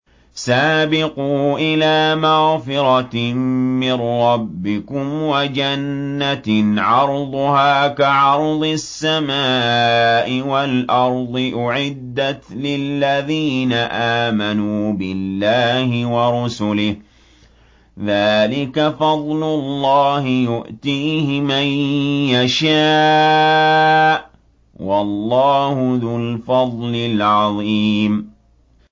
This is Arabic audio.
سَابِقُوا إِلَىٰ مَغْفِرَةٍ مِّن رَّبِّكُمْ وَجَنَّةٍ عَرْضُهَا كَعَرْضِ السَّمَاءِ وَالْأَرْضِ أُعِدَّتْ لِلَّذِينَ آمَنُوا بِاللَّهِ وَرُسُلِهِ ۚ ذَٰلِكَ فَضْلُ اللَّهِ يُؤْتِيهِ مَن يَشَاءُ ۚ وَاللَّهُ ذُو الْفَضْلِ الْعَظِيمِ